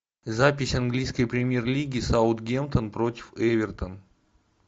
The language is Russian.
запись английской премьер лиги саутгемптон против эвертон